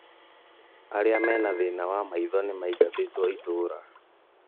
Arĩa mena thĩna wa maitho nĩ maingatĩtwo itũra